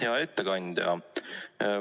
Hea ettekandja!